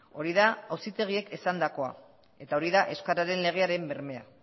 hori da auzitegiek esandakoa eta hori da euskararen legearen bermea